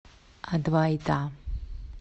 адвайта